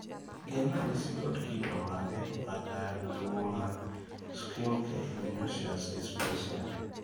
gin ranyisi kod kido mage mag tuwo mar schimke immunoosseous dysplasia?